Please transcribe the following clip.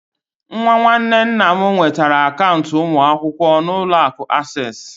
Nwa nwanne nna m nwetara akaụntụ ụmụ akwụkwọ na Ụlọ akụ Access